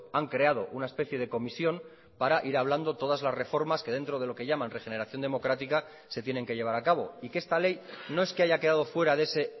han creado una especie de comisión para ir hablando todas las reformas que dentro de lo que llaman regeneración democrática se tienen que llevar a cabo y que esta ley no es que haya quedado fuera de ese